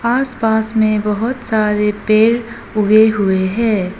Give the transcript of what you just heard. आसपास में बहोत सारे पेर उगे हुए हैं।